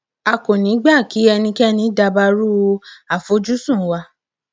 a kò ní í gbà kí ẹnikẹni dabarú àfojúsùn wa